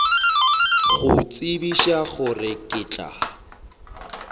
go tsebiša gore ke tla